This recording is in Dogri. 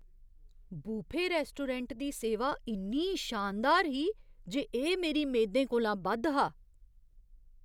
बुफे रैस्टोरैंट दी सेवा इन्नी शानदार ही जे एह् मेरी मेदें कोला बद्ध हा!